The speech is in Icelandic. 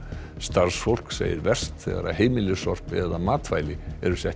starfsfólk segir verst þegar heimilissorp eða matvæli eru sett í